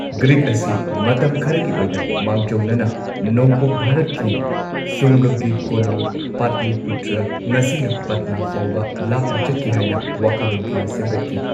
Greek ꯑꯁꯤ ꯃꯇꯝ ꯈꯔꯒꯤ ꯑꯣꯏꯅ ꯃꯥꯡꯖꯧꯅꯅ ꯅꯣꯡꯄꯣꯛ ꯚꯥꯔꯠꯀꯤ ꯁꯨꯡꯒꯒꯤ ꯀꯣꯅꯨꯡ ꯄꯇꯂꯤꯄꯨꯇ꯭ꯔ ꯉꯁꯤꯅ ꯄꯠꯅ ꯐꯥꯎꯕ ꯂꯥꯞꯅ ꯆꯠꯈꯤ ꯍꯥꯏꯅ ꯋꯥꯈꯜꯂꯣꯟ ꯀꯌꯥ ꯁꯦꯝꯒꯠꯈꯤ꯫